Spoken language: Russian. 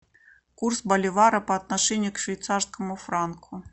курс боливара по отношению к швейцарскому франку